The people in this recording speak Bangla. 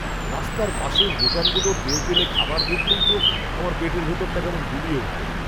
রাস্তার পাশের দোকানগুলোর তেলতেলে খাবার দেখলেই তো আমার পেটের ভেতরটা কেমন গুলিয়ে ওঠে।